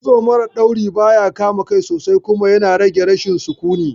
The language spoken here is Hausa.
Kitso mara dauri baya kama kai sosai kuma yana rage rashin sukuni